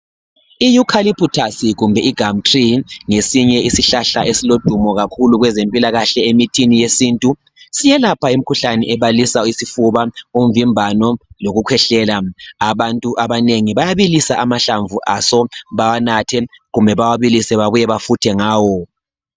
I-eucalypitus kumbe igumtree ngesiye isihlahla esilodumo kakhulu kwezempilakahle emithini yesintu. Siyelapha kakhulu imikhuhlane ebalisa isifuba umvimbano lokukhwehlela. Abantu abanengi bayabilisa amahlmvu aso bawanathe kumbe bawabilise babuye bafuthe ngawo.